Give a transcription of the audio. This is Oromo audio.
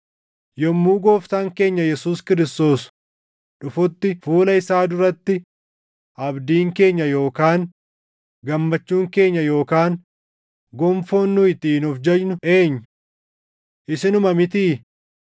Yommuu Gooftaan keenya Yesuus Kiristoos dhufutti fuula isaa duratti abdiin keenya yookaan gammachuun keenya yookaan gonfoon nu ittiin of jajnu eenyu? Isinuma mitii?